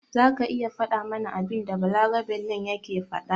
Zaka iya fada mana abinda balaraben nan yake faɗa?